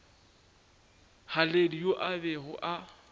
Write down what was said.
haledi yo a bego a